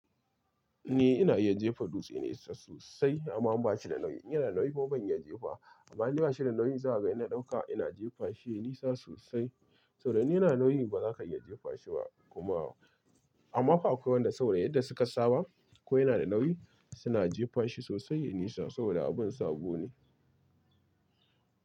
Ni ina iya jefa dutse nesa sosai amma in ba shi da nauyi. In yana nauyi kuma ban iya jefa wa amma indai ba shi da nauyi. Zaga ina dauka ina jefa shi nisa sosai. Saboda in yana da nauyi, ba za ka iya jefa shi ba kuma. Amma fa akwai waɗanda saboda yadda suka saba ko yana da nauyi suna jefan shi sosai yayi nisa saboda abin sabo ne.